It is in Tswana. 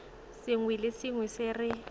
sengwe le sengwe se re